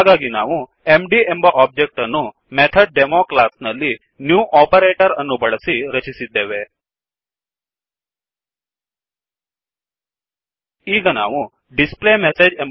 ಹಾಗಾಗಿ ನಾವು mdಎಂಬ ಒಬ್ಜೆಕ್ಟ್ ಅನ್ನು MethodDemoಕ್ಲಾಸ್ ನಲ್ಲಿ Newನ್ಯು ಓಪರೇಟರ್ ಅನ್ನು ಬಳಸಿ ರಚಿಸಿದ್ದೇವೆ ಈಗ ನಾವು ಡಿಸ್ಪ್ಲೇಮೆಸ್ಸೇಜ್